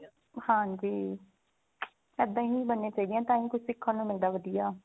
ਹਾਂਜੀ ਇੱਦਾਂ ਹੀ ਬਣਨੀਆਂ ਚਾਹੀਦੀਆਂ ਤਾਂਹੀ ਕੁਛ ਸਿੱਖਣ ਨੂੰ ਮਿਲਦਾ ਵਧੀਆ